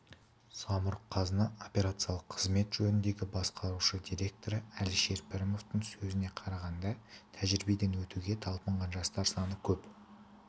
самұрық-қазына операциялық қызмет жөніндегі басқарушы директоры әлішер пірметовтің сөзіне қарағанда тәжірибеден өтуге талпынған жастар саны көп